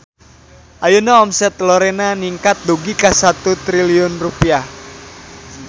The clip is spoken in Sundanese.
Ayeuna omset Lorena ningkat dugi ka 1 triliun rupiah